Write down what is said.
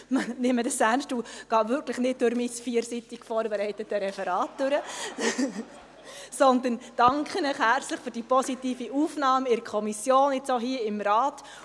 Ich nehme dies ernst und gehe wirklich nicht mein vierseitiges, vorbereitetes Referat durch, sondern danke Ihnen für die positive Aufnahme in der Kommission und auch hier im Rat.